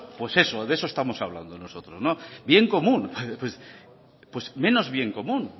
pues eso de eso estamos hablando nosotros bien común pues menos bien común